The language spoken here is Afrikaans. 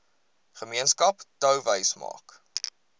gemeenskap touwys maak